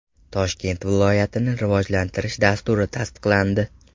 Toshkent viloyatini rivojlantirish dasturi tasdiqlandi .